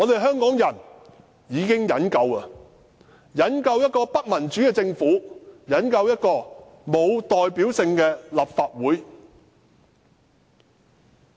香港人忍夠了，忍夠了一個不民主的政府，忍夠了沒有代表性的立法會。